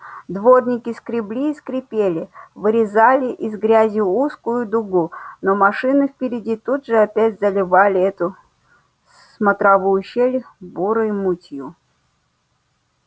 дворники скребли и скрипели вырезали из грязи узкую дугу но машины впереди тут же опять заливали эту смотровую щель бурой мутью